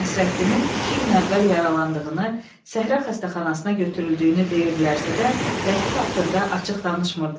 Nəsrəddinin iki gün əvvəl yaralandığını səhra xəstəxanasına götürüldüyünü deyirdilərsə də, Lətif haqqında açıq danışmırdılar.